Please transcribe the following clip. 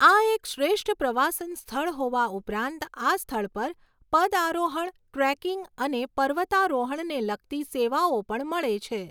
આ એક શ્રેષ્ઠ પ્રવાસન સ્થળ હોવા ઉપરાંત આ સ્થળ પર પદઆરોહણ, ટ્રેકિંગ અને પર્વતારોહણને લગતી સેવાઓ પણ મળે છે.